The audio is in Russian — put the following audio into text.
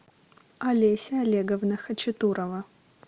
олеся олеговна хачатурова